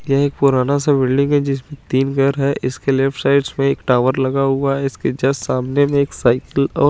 ये एक पुराना सा बिल्डिंग है जिसमे तीन घर है इसके लेफ्ट साइड एक टावर लगा हुआ है इसके जस्ट सामने में एक साइकिल और --